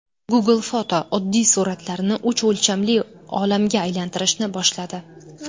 Google Photo oddiy suratlarni uch o‘lchamli olamga aylantirishni boshladi.